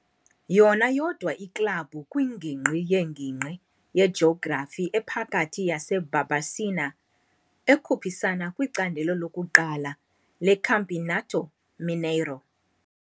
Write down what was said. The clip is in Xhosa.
Yona yodwa iklabhu kwiNgingqi ye-INgingqi yeJografi ePhakathi yaseBarbacena ekhuphisana kwiCandelo lokuQala leCampeonato Mineiro.